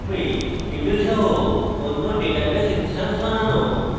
table সহ অন্য database instance বানানো